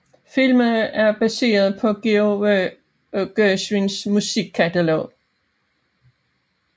Filmen er baseret på George Gershwins musikkatalog